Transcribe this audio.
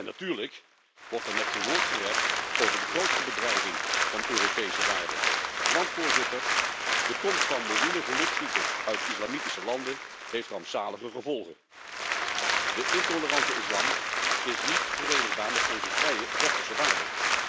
Natuurlijk wordt er met geen woord gerept over de grootste bedreiging van Europese waarden. Want Voorzitter, de komst van miljoenen gelukszoekers uit islamitische landen heeft rampzalige gevolgen. De intolerante islam is niet verenigbaar met onze vrije westerse waarden.